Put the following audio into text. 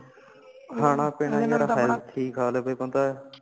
ਖਾਣਾ ਪੀਣਾ ਯਾਰ health ਠੀਕ ਆਲੇ ਕੋਈ ਬੰਦਾ